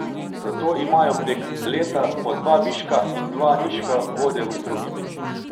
Zato imajo prek leta po dva viška in dva nižka vode v strugi.